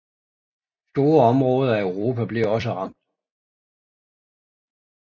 Store områder af Europa blev også ramt